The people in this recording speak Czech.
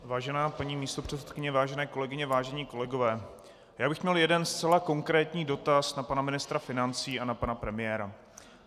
Vážená paní místopředsedkyně, vážené kolegyně, vážení kolegové, já bych měl jeden zcela konkrétní dotaz na pana ministra financí a na pana premiéra.